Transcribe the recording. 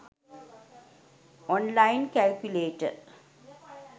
online calculator